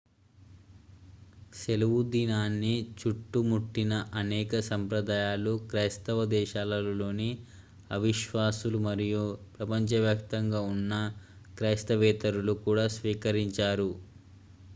సెలవుదినాన్ని చుట్టుముట్టిన అనేక సంప్రదాయాలు క్రైస్తవ దేశాలలోని అవిశ్వాసులు మరియు ప్రపంచవ్యాప్తంగా ఉన్న క్రైస్తవేతరులు కూడా స్వీకరించారు